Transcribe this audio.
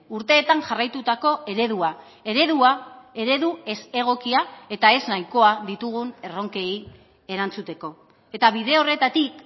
urteetan jarraitutako eredua eredua eredu ez egokia eta ez nahikoa ditugun erronkei erantzuteko eta bide horretatik